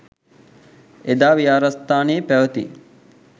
එදා විහාරස්ථානයේ පැවැති